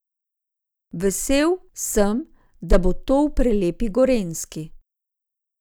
Vesel, sem, da bo to v prelepi Gorenjski.